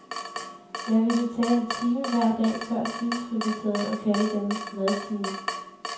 Jeg ville tage en time hver dag før spisefrikvarteret og kalde dem madtimer.